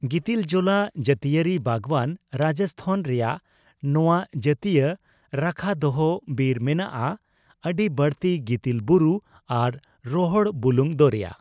ᱜᱤᱛᱤᱞᱡᱚᱞᱟ ᱡᱟᱹᱛᱤᱭᱟᱹᱨᱤ ᱵᱟᱜᱣᱟᱱᱺ ᱨᱟᱡᱚᱥᱛᱷᱟᱱ ᱨᱮᱭᱟᱜ ᱱᱚᱣᱟ ᱡᱟᱹᱛᱤᱭᱟᱹ ᱨᱟᱠᱷᱟᱫᱚᱦᱚ ᱵᱤᱨ ᱢᱮᱱᱟᱜᱼᱟ ᱟᱹᱰᱤᱵᱟᱹᱲᱛᱤ ᱜᱤᱛᱤᱞ ᱵᱩᱨᱩ ᱟᱨ ᱨᱚᱦᱚᱲ ᱵᱩᱞᱩᱝ ᱫᱚᱨᱭᱟ ᱾